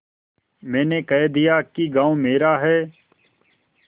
मैंने कह दिया कि गॉँव मेरा है